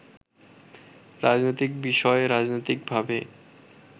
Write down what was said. রাজনৈতিক বিষয় রাজনৈতিকভাবে